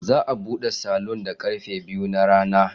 Za a bude salon da karfe biyu na rana.